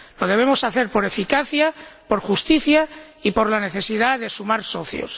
Lo debemos hacer por eficacia, por justicia y por la necesidad de sumar socios.